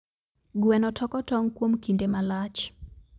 Gweno toko tong kuom kinde malach.